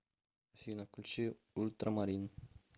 афина включи ультрамарин